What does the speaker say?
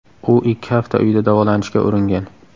U ikki hafta uyida davolanishga uringan.